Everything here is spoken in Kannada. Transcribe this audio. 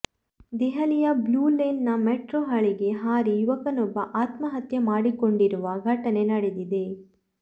ದೆಹಲಿಯ ಬ್ಲೂಲೇನ್ ನ ಮೆಟ್ರೋ ಹಳಿಗೆ ಹಾರಿ ಯುವಕನೊಬ್ಬ ಆತ್ಮಹತ್ಯೆ ಮಾಡಿಕೊಂಡಿರುವ ಘಟನೆ ನಡೆದಿದೆ